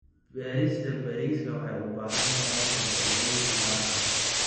Beerista bariiska waxay u baahan tahay farsamooyin gaar ah.